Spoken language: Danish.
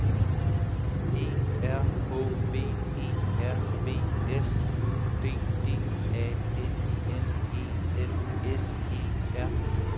E R H V E R V S U D D A N N E L S E R